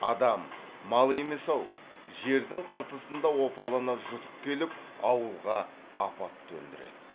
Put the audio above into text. адам мал емес ау жердің қыртысында опалана жұтып келіп ауылға апат төндіреді